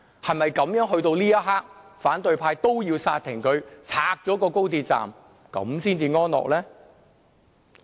是否到了這一刻，反對派也要煞停、拆掉高鐵才開心呢？